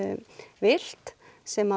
vilt sem